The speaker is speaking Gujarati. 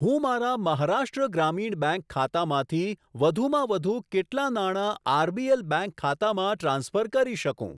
હું મારા મહારાષ્ટ્ર ગ્રામીણ બેંક ખાતામાંથી વધુમાં વધુ કેટલા નાણા આરબીએલ બેંક ખાતામાં ટ્રાન્સફર કરી શકું?